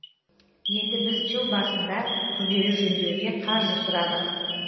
енді біз жыл басында күрделі жөндеуге қаржы сұрадық